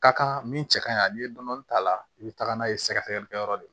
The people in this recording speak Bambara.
Ka kan min cɛ kaɲi n'i ye dɔɔni k'a la i bɛ taga n'a ye sɛgɛsɛgɛlikɛyɔrɔ de